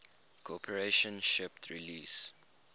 corporation shipped release